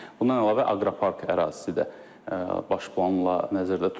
Bundan əlavə Aqropark ərazisi də baş planla nəzərdə tutulur.